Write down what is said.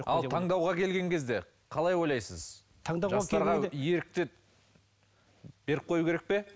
ал таңдауға келген кезде қалай ойлайсыз жастарға ерікті беріп қою керек пе